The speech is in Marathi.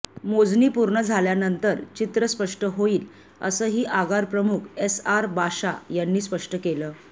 मोजणी पूर्ण झाल्यानंतर चित्र स्पष्ट होईल असंही आगार प्रमुख एस आर बाशा यांनी स्पष्ट केलं